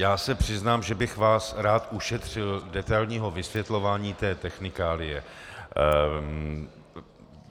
Já se přiznám, že bych vás rád ušetřil detailního vysvětlování té technikálie.